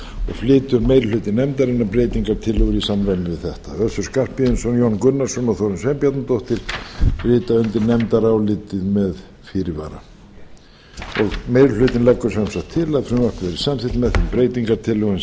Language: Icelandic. flytur meiri hluti nefndarinnar breytingartillögur í samræmi við þetta össur skarphéðinsson jón gunnarsson og þórunn sveinbjarnardóttir rita undir nefndarálitið með fyrirvara meiri hlutinn leggur sem sagt til að frumvarpið verði samþykkt með þeim breytingartillögum